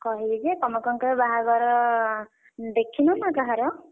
କହିବି ଯେ, ତମେ କଣ କେବେ ବାହାଘର ଦେଖିନ ନା କାହାର?